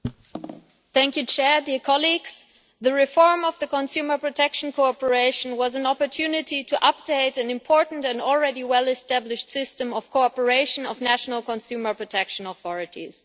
Mr President, the reform of the Consumer Protection Cooperation was an opportunity to update an important and already well established system of cooperation of national consumer protection authorities.